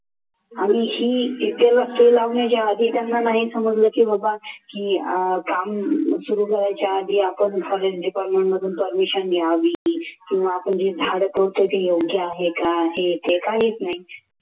आणि ही लावण्याच्या आधी त्यांना नाही समजलं की बाबा की काम सुरू करायच्या आधी आपण forest department मधून permission घ्यावी किंवा आपण जे झाड तोडतोय ते योग्य आहे का हे ते काहीच नाही.